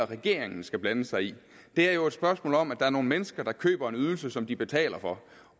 regeringen skal blande sig i det er jo et spørgsmål om at der er nogle mennesker der køber en ydelse som de betaler for